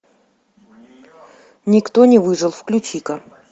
никто не выжил включи ка